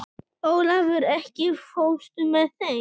Olavur, ekki fórstu með þeim?